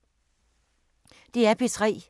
DR P3